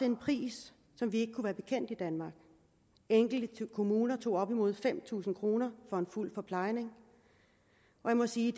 en pris som vi ikke kunne være bekendt i danmark enkelte kommuner tog op imod fem tusind kroner for fuld forplejning og jeg må sige